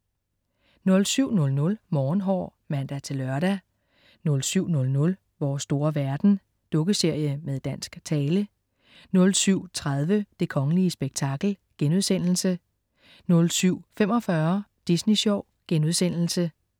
07.00 Morgenhår (lør-søn) 07.00 Vores store verden. Dukkeserie med dansk tale 07.30 Det kongelige spektakel* 07.45 Disney Sjov*